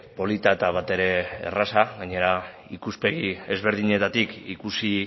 polita eta batere erraza gainera ikuspegi ezberdinetatik ikusi